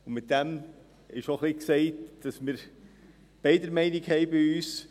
Damit wird auch ein wenig gesagt, dass es bei uns beiderlei Meinungen gibt.